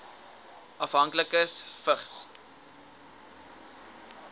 afhanklikes vigs